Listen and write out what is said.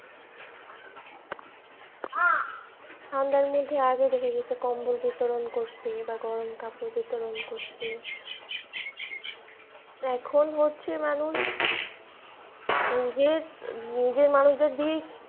ঠান্ডার মধ্যে আগে তো দেখা গেছে যে কম্বল বিতরণ করছে বা গরম কাপড় বিতরণ করছে এখন হচ্ছে মানুষ নিজের, নিজের মানুষদের দিয়েই,